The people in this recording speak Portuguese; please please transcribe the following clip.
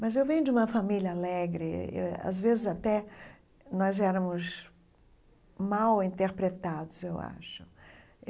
Mas eu venho de uma família alegre e eh, às vezes até nós éramos mal interpretados, eu acho.